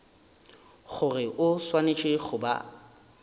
gore o swanetše go ba